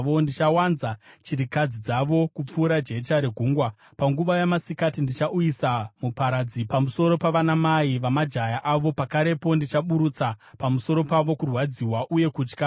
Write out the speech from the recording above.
Ndichawanza chirikadzi dzavo kupfuura jecha regungwa. Panguva yamasikati ndichauyisa muparadzi, pamusoro pavanamai vamajaya avo; pakarepo, ndichaburutsa pamusoro pavo kurwadziwa nokutya.